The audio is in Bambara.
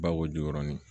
Bako ju